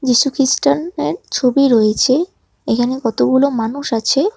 যীশুখ্রিস্টানের ছবি রয়েছে এখানে কতগুলো মানুষ আছে।